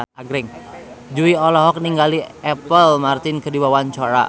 Jui olohok ningali Apple Martin keur diwawancara